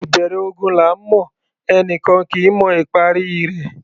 Ìbẹ̀rẹ̀ ogun là ńmọ̀; ẹni kan kì í mọ ìparí i rẹ̀.